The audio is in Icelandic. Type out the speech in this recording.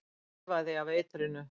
Þefaði af eitrinu.